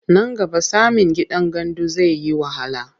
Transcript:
Nan gaba samin gidan gandu zai yi wahala.